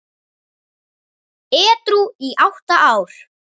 Edrú í átta ár!